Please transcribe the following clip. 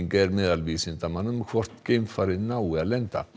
er meðal vísindamanna um hvort geimfarið nái að lenda